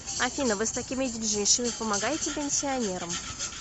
афина вы с такими деньжищами помогаете пенсионерам